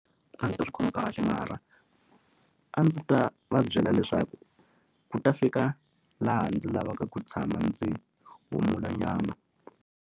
A ndzi swi khomi kahle mara a ndzi ta va byela leswaku ku ta fika laha ndzi lavaka ku tshama ndzi humulanyana.